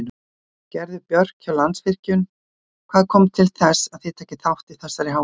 Gerður Björk hjá Landsvirkjun, hvað kom til þess að þið takið þátt í þessari hátíð?